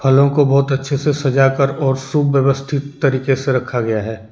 फलों को बहोत अच्छे से सजाकर और सुव्यवस्थित तरीके से रखा गया है।